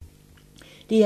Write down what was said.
DR2